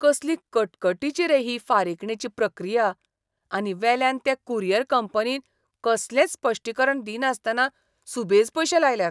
कसली कटकटीची रे ही फारीकणेची प्रक्रिया. आनी वेल्यान ते कुरियर कंपनीन कसलेंच स्पश्टीकरण दिनासतना सुबेज पयशे लायल्यात.